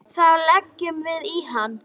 Þá leggjum við í hann.